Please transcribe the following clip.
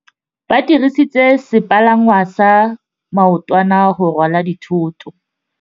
Ba dirisitse sepalangwasa maotwana go rwala dithôtô.